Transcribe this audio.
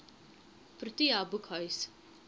protea boekhuis